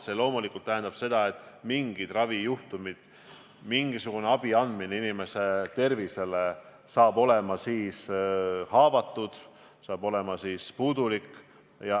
See loomulikult tähendab automaatselt seda, et mingid ravijuhtumid, mingisugune terviseabi andmine inimestele saab olema haavatud, saab olema puudulik.